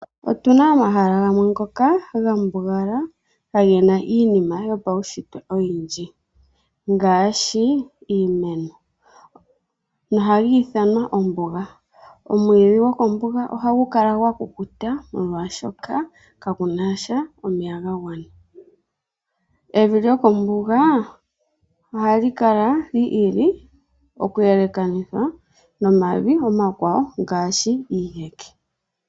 Otuna omahala gamwe ngoka gambugala kaagena iinima yopaunshitwe oyindji ngaashi iimeno nohaga ithanwa ombuga, omwiidhi gokombuga ohaga kala gakukuta molwaashoka kega nasha omeya gagwana. Evi lyokombuga ohali kala li ili oku elekanitha nomavi omakwawo ngaashi iiheke.